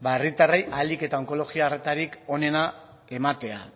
herritarrei ahalik eta onkologia harretarik onena ematea